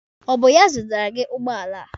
Ọ bụ ya zụtara gị ụgbọala a?